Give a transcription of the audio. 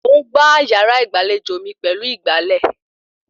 Mò ń gbá yàrá ìgbàlejò mi pẹ̀lú ìgbálẹ̀